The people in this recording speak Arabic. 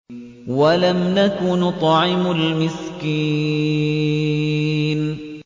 وَلَمْ نَكُ نُطْعِمُ الْمِسْكِينَ